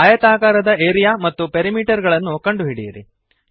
ಆಯತಾಕಾರದ ಏರಿಯಾ ಮತ್ತು ಪೆರಿಮೀಟರ್ ಗಳನ್ನು ಕಂಡುಹಿಡಿಯಿರಿ